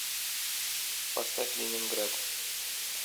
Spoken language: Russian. поставь ленинград